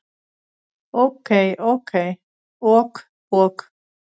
Ok ok.